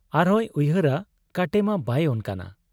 ᱟᱨᱦᱚᱸᱭ ᱩᱭᱦᱟᱹᱨᱟ ᱠᱟᱴᱮᱢᱟ ᱵᱟᱭ ᱚᱱᱠᱟᱱᱟ ᱾